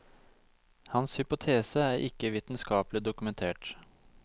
Hans hypotese er ikke vitenskapelig dokumentert.